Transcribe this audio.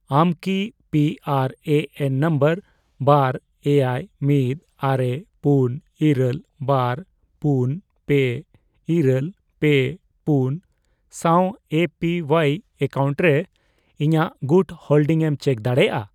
ᱟᱢ ᱠᱤ P R A N number ᱵᱟᱨ, ᱮᱭᱟᱭ, ᱢᱤᱫ, ᱟᱨᱮ, ᱯᱩᱱ, ᱤᱨᱟᱹᱞ, ᱵᱟᱨ, ᱯᱩᱱ, ᱯᱮ, ᱤᱨᱟᱹᱞ, ᱯᱮ, ᱯᱩᱱ ᱥᱟᱶ ᱮᱹ ᱯᱤ ᱳᱣᱟᱭ ᱮᱠᱟᱣᱩᱱᱴ ᱨᱮ ᱤᱧᱟᱜ ᱜᱩᱴ ᱦᱳᱞᱰᱤᱝ ᱮᱢ ᱪᱮᱠ ᱫᱟᱲᱮᱭᱟᱜᱼᱟ ᱾